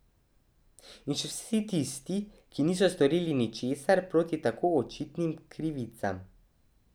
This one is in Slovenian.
In še vsi tisti, ki niso storili ničesar proti tako očitnim krivicam.